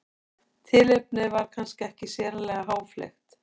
Tilefnið var kannski ekki sérlega háfleygt.